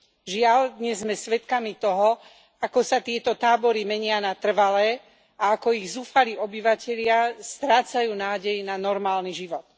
Žiaľ, dnes sme svedkami toho, ako sa tieto tábory menia na trvalé a ako ich zúfalí obyvatelia strácajú nádej na normálny život.